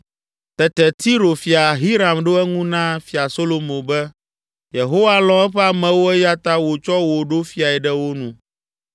Tete Tiro fia Hiram ɖo eŋu na Fia Solomo be, “Yehowa lɔ̃ eƒe amewo eya ta wòtsɔ wò ɖo fiae ɖe wo nu!”